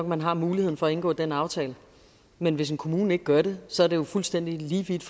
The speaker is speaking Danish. man har muligheden for at indgå den aftale men hvis en kommune gør det så er læreren jo fuldstændig lige vidt